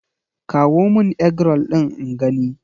Kawo mun Eggroll ɗin in gani!